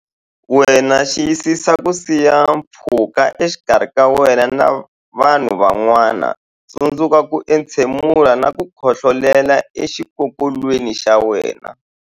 Wena Xiyisisa ku siya pfhuka exikarhi ka wena na vanhu van'wana Tsundzuka ku entshemula na ku khohlolela exikokolweni xa wena.